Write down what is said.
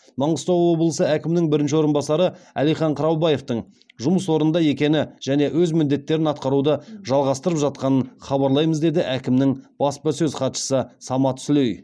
маңғыстау облысы әкімінің бірінші орынбасары әлихан қыраубаевтың жұмыс орнында екені және өз міндеттерін атқаруды жалғастырып жатқанын хабарлаймыз деді әкімнің баспасөз хатшысы самат сүлей